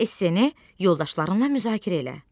Esse-ni yoldaşlarınla müzakirə elə.